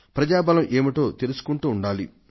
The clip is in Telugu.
ప్రజా బలం ఏమిటో తెలుసుకుంటూ ఉండాలి